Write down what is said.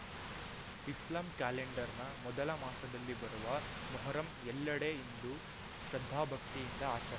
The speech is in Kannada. ಇಸ್ಲಾಂ ಕ್ಯಾಲೆಂಡರ್‌ನ ಮೊದಲ ಮಾಸದಲ್ಲಿ ಬರುವ ಮೊಹರಂ ಎಲ್ಲೆಡೆ ಇಂದು ಶ್ರದ್ಧಾಭಕ್ತಿಯಿಂದ ಆಚರ್